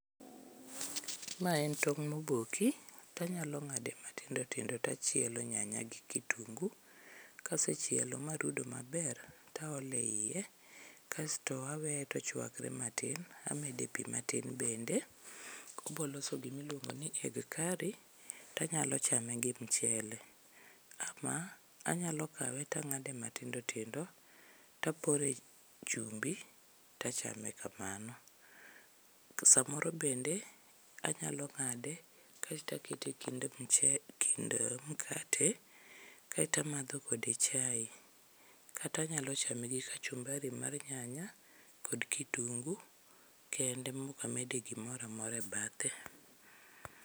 Ma en tong' moboki, to anyalo ng'ade matindo tindo to chielo nyanya gi kitungu, kase chielo marudo maber to aolo eiye. Kasto aweye to ochuakre matin, amede pi matin bende. Obiro loso gima iluongo ni egg carry to anyalo chame gi michele ama anyalo kawe to ang'ade matindo to apore chumbi to achame kamano. Samoro bende anyalo ng'ade kaeto akete ekind mchele ekind mkate kaeto amadho kode chae kata anyalo chame gi kachumbari mar nyanya kod kitungu kende maok amede gimoro amora ebathe.